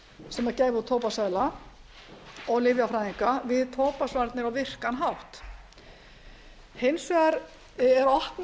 sem gæfi út tóbaksseðla og lyfjafræðinga við tóbaksvarnir á virkan hátt hins vegar er opnað